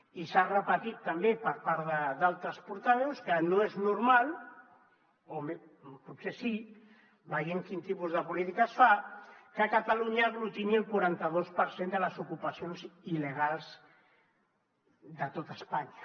i s’ha repetit també per part d’altres portaveus que no és normal o potser sí veient quin tipus de polítiques fa que catalunya aglutini el quaranta dos per cent de les ocupacions il·legals de tot espanya